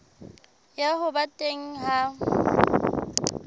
ya ho ba teng ha